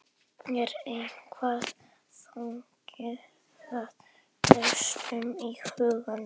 Er eitthvað þannig að veltast um í huganum?